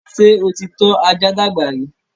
ṣé o ti tọ́ ajá dàgbà rí?